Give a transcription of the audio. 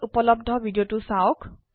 এই লিঙ্কে উপলব্ধ ভিডিওটি দেখুন